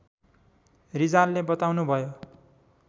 रिजालले बताउनुभयो